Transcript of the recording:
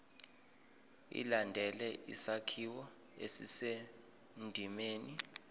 ilandele isakhiwo esisendimeni